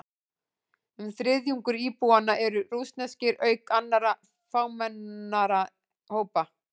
Um þriðjungur íbúanna eru rússneskir, auk annarra fámennari hópa.